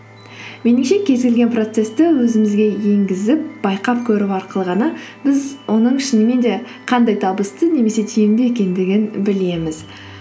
меніңше кез келген процессті өзімізге енгізіп байқап көру арқылы ғана біз оның шынымен де қандай табысты немесе тиімді екендігін білеміз